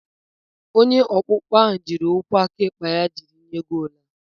Onye ọkpụkpọ ahụ jiri ụkwụ aka ekpe ya jiri goolu a.